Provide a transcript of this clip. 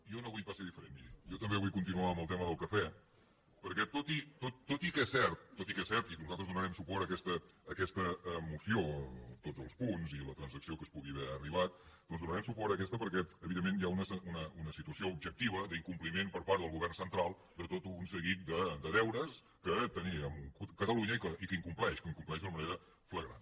jo no vull pas ser diferent miri jo també vull continuar amb el tema del cafè perquè tot i que és cert tot i que és cert i nosaltres donarem suport a aquesta moció a tots els punts i a la transacció que es pugui haver arribat doncs donarem suport a aquesta perquè evidentment hi ha una situació objectiva d’incompliment per part del govern central de tot un seguit de deures que té amb catalunya i que incompleix que incompleix d’una manera flagrant